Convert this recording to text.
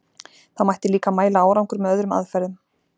Það mætti líka mæla árangur með öðrum aðferðum.